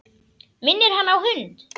Minnir hann á hund.